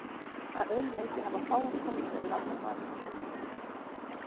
Að öðru leyti hafa fáar konur verið valdar maður ársins.